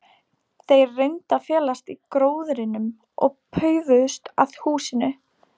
Þeir reyndu að felast í gróðrinum og paufuðust að húsinu.